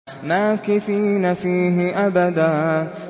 مَّاكِثِينَ فِيهِ أَبَدًا